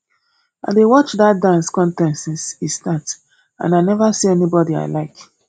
i dey watch dat dance contest since e start and i never see anybody i like